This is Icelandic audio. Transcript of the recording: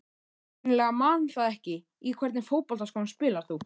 Ég hreinlega man það ekki Í hvernig fótboltaskóm spilar þú?